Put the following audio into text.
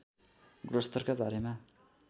गुणस्तरका बारेमा